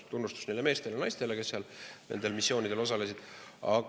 Tunnustus neile meestele ja naistele, kes seal nendel missioonidel osalesid!